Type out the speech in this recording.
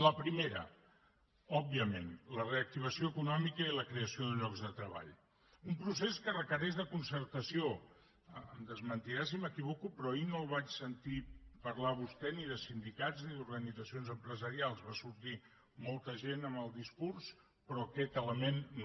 la primera òbviament la reactivació econòmica i la creació de llocs de treball un procés que requereix concertació em desmentirà si m’equivoco però ahir no el vaig sentir parlar a vostè ni de sindicats ni d’organitzacions empresarials va sortir molta gent en el discurs però aquest element no